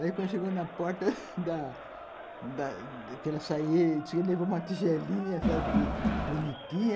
Daí quando chegou na porta da da que ela saiu, ele levou uma tigelinha, sabe, bonitinha